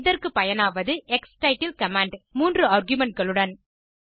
இதற்கு பயனாவது க்ஸ்டிட்டில் கமாண்ட் 3 ஆர்குமென்ட் களுடன்